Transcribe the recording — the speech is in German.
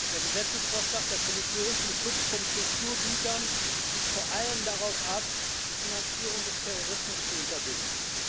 Herr Präsident! Der Gesetzesvorschlag der Kommission zum Schutz von Kulturgütern zielt vor allem darauf ab, die Finanzierung des Terrorismus zu unterbinden.